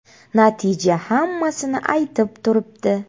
Natija hammasini aytib turibdi.